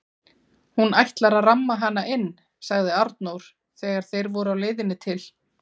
Hún ætlar að ramma hana inn, sagði Arnór þegar þeir voru á leiðinni til